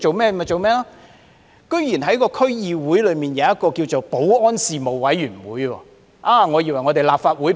北區區議會設立了一個保安事務委員會，我還以為那是立法會保安事務委員會。